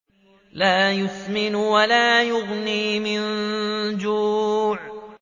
لَّا يُسْمِنُ وَلَا يُغْنِي مِن جُوعٍ